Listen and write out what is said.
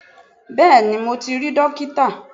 Bẹ́ẹ̀ni mo ti rí dókítà